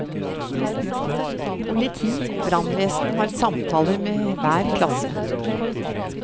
Politi og brannvesen har samtaler med hver klasse.